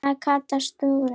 sagði Kata stúrin.